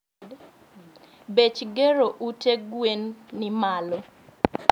bech gero ute gwen ni malo